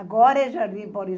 Agora é Jardim Paulista.